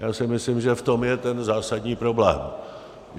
Já si myslím, že v tom je ten zásadní problém.